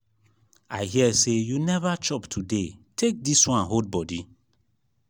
i hear say you never chop today take dis wan hold body